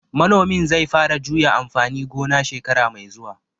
Manomin zai fara juya amfani gona shekara mai zuwa